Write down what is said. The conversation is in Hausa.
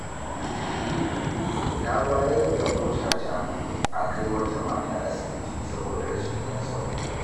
Na bayar da motata akai wata mata asibiti, saboda rashin ɗan sahu.